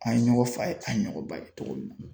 An ye ɲɔgɔn fa ye an ye ɲɔgɔn ba kɛ cogo min na.